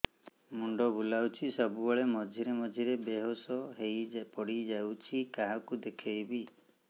ମୁଣ୍ଡ ବୁଲାଉଛି ସବୁବେଳେ ମଝିରେ ମଝିରେ ବେହୋସ ହେଇ ପଡିଯାଉଛି କାହାକୁ ଦେଖେଇବି